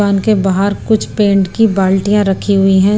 दुकान के बाहर कुछ पेंट की बाल्टियां रखी हुई हैं।